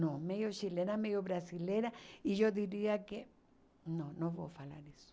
Não, meio chilena, meio brasileira, e eu diria que não, não vou falar isso.